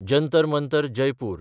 Jantar Mantar (Jaipur)